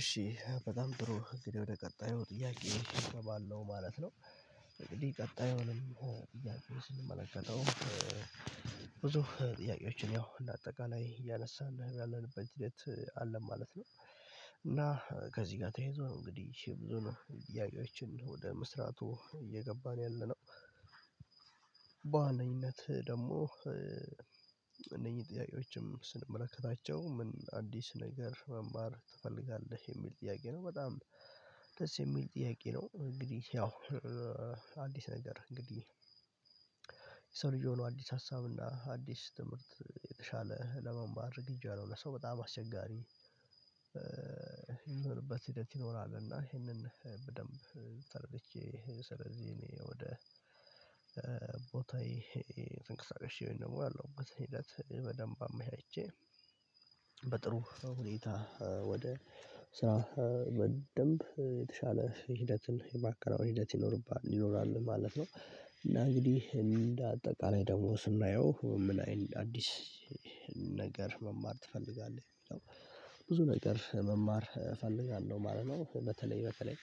እሺ በጣም ጥሩ እንግዲህ ወደ ቀጣዩ ጥያቄ ነው እገባለሁ ማለት ነው። እንግዲህ ቀጣዩንም ጥያቄዎችን የምንመለከተው ብዙ ጥያቄዎችን ያው ለአጠቃላይ እያነሳን ያለንበት ሂደት አለ ማለት ነው። እና ከዚህ ጋር ተይዞ እንግዲህ ይቺ ብዙ ነው ጥያቄዎችን ወደ መስራቱ እየገባን ያለነው። በዋነኝነት ደግሞ እነኚህ ጥያቄዎችም ስንመለከታቸው ምን አዲስ ነገር መማር ትፈልጋለህ የሚል ጥያቄ ነው በጣም ደስ የሚል ጥያቄ ነው። እንግዲህ ያው አዲስ ነገር እንግዲህ የሰው ልጅ ሆኖ አዲስ ሀሳብ እና አዲስ ትምህርት የተሻለ ለመማር እጅ አለው ለሰው በጣም አስቸጋሪ። ይሁንበት ሂደት ይኖራል። እና ይሄንን በደንብ ተረድቼ ስለዚህ እኔ ወደ ቦታዬ ተንቅሳቀሽ ያለውበትን እንግዲህ ሂደት በደንብ አመሻቼ በጥሩ ሁኔታ ወደ ስራ በደንብ የተሻለ ሂደትን የማከናወን ሂደት ይኖርብሃል ይኖራል ማለት ነው። እና እንግዲህ እንደ አጠቃላይ ደግሞ ስናየው ምን አዲስ ነገር መማር ትፈልጋለህ? ብዙ ነገር መማር እፈልጋለሁ ማለት ነው። በተለይ በተለይ